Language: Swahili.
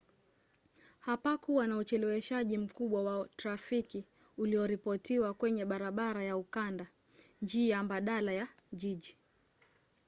hapakuwa na ucheleweshwaji mkubwa wa trafiki ulioripotiwa kwenye barabara ya ukanda njia mbadala ya jiji